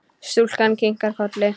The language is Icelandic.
Stúlkan kinkar kolli.